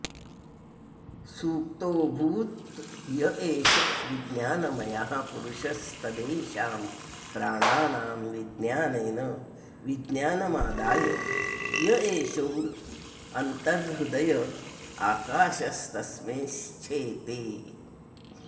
सुप्तोऽभूद् य एष विज्ञानमयः पुरुषस्तदेषां प्राणानां विज्ञानेन विज्ञानमादाय य एषोऽन्तर्हृदय आकाशस्तस्मिञ्छेते